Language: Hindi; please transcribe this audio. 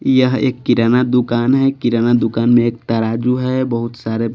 यह एक किराना दुकान है किराना दुकान में एक तराजू है बहुत सारे--